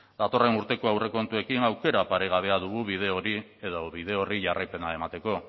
datorren urteko aurrekontuekin aukera paregabea dugu bide hori edo bide horri jarraipena emateko